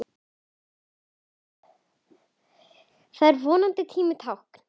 Það er vonandi tímanna tákn.